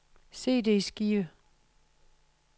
CD-skive